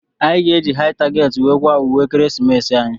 Anyị ga- eji Hai target wee kwaa ùwé ekeresimesi anyị.